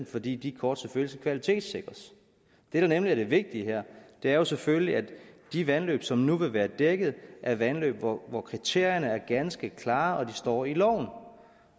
fordi de kort selvfølgelig skal kvalitetssikres det der nemlig er det vigtige her er jo selvfølgelig at de vandløb som nu vil være dækket er vandløb hvor hvor kriterierne er ganske klare og de står i loven